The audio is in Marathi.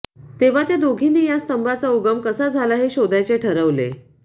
तेव्हा त्या दोघांनी या स्तंभाचा उगम कसा झाला हे शोधायचे ठरवले